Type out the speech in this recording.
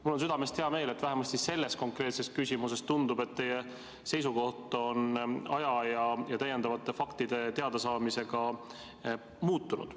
" Mul on südamest hea meel, et vähemasti selles konkreetses küsimuses, tundub, teie seisukoht on aja jooksul ja täiendavate faktide teadasaamisega muutunud.